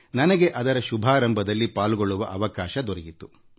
ನನಗೆ ಅದರ ಪ್ರಾರಂಭೋತ್ಸವದಲ್ಲಿ ಪಾಲ್ಗೊಳ್ಳುವ ಅವಕಾಶ ದೊರೆಯಿತು